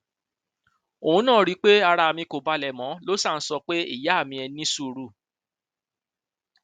òun náà rí i pé ara mi kò balẹ mọ ló ṣáà ń sọ pé ìyá mi ẹ ní sùúrù